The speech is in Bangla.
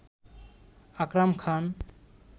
আকরাম খান